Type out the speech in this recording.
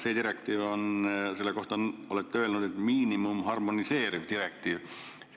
Selle direktiivi kohta olete öelnud, et see on miinimum-harmoniseeriv direktiiv.